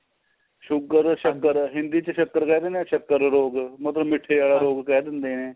sugar ਸਕਰ ਏ Hindi ਚ ਸਕਰ ਕਹਿ ਦੇਣੇ ਆ ਸਕਰ ਰੋਗ ਮਤਲਬ ਮੀਠੇ ਦਾ ਰੋਗ ਕਹਿ ਦਿੰਦੇ ਏ